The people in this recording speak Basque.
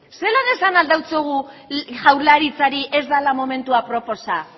zelan esan ahal diogu jaurlaritzari ez dela momentua aproposa